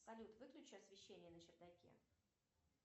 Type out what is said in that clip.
салют выключи освещение на чердаке